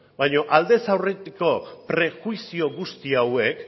baina aldez aurretiko prejuizio guzti hauek